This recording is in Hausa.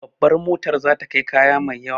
Babar motar za ta kai kaya mai yawa